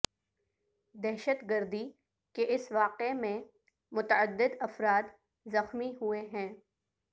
دہشت گردی کے اس واقع میں متعدد افراد زخمی ہوئے ہیں